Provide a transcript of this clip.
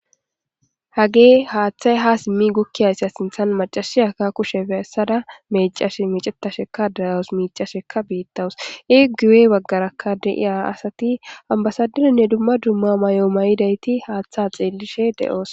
Hage hathay ha simi gukiyazan mac'asiya ba kushiya besada mec'ashe mec'etadheka de'awus mic'asheka betawus e guye bagaraka de'iya asati ambasaderenne duma duma mayo mayidaiti hatha dhelishe de'osona.